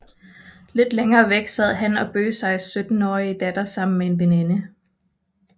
Lidt længere væk sad han og Bøseis syttenårige datter sammen med en veninde